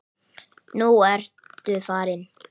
Nú ertu farinn.